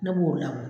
Ne b'o lam